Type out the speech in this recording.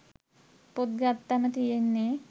පොත් ගත්තම තියෙන්නේ